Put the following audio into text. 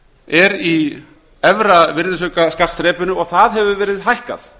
er í efra virðisaukaskattsþrepinu og það hefur verið hækkað